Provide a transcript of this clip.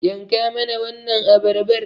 Yanka mana wannan abarbar